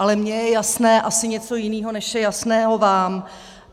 Ale mě je jasné asi něco jiného, než je jasného vám.